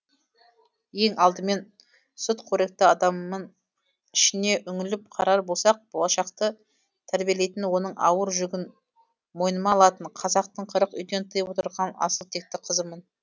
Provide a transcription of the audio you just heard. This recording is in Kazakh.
ең алдымен сүтқоректі адаммын ішіне үңіліп қарар болсақ болашақты тәрбиелейтін оның ауыр жүгін мойныма алатын қазақтың қырық үйден тыйып отырған асыл текті қызымын